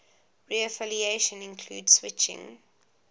reaffiliation include switching